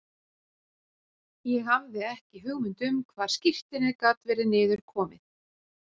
Ég hafði ekki hugmynd um hvar skírteinið gat verið niður komið.